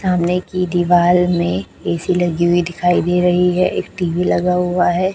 सामने की दीवाल में ए_सी लगी हुई दिखाई दे रही है एक टी_वी लगा हुआ है।